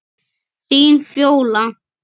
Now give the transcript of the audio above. Þín, Fjóla.